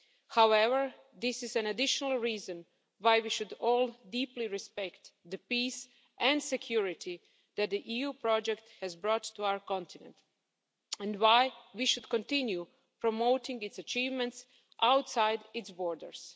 However, this is an additional reason why we should all deeply respect the peace and security that the EU project has brought to our continent and why we should continue promoting its achievements outside its borders.